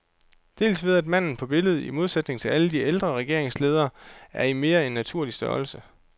Dels ved at manden på billedet, i modsætning til alle de ældre regeringsledere, er i mere end naturlig størrelse.